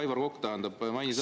Aivar Kokk, tähendab, mainis …